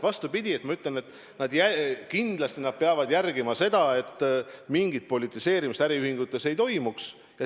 Vastupidi, ma ütlen, et kindlasti nad peavad jälgima seda, et mingit politiseerimist äriühingutes ei toimuks.